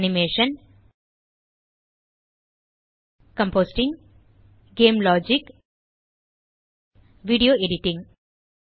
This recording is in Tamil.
animation compositing game logic video editing